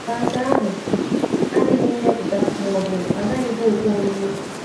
Ma nke ahụ adịghị mmepụta ma ọ bụ agaghịkwa ekwe omume.